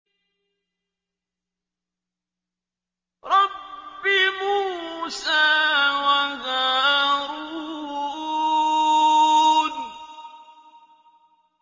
رَبِّ مُوسَىٰ وَهَارُونَ